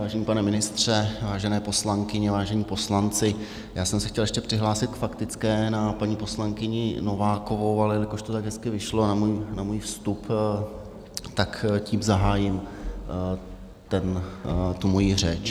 Vážený pane ministře, vážené poslankyně, vážení poslanci, já jsem se chtěl ještě přihlásit k faktické na paní poslankyni Novákovou, ale jelikož to tak hezky vyšlo na můj vstup, tak tím zahájím tu mojí řeč.